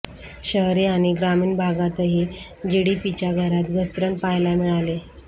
शहरी आणि ग्रामीण भागातही जीडीपीच्या दरात घसरण पाहायला मिळाली